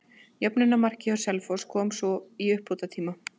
Jöfnunarmarkið hjá Selfoss kom svo í uppbótartíma.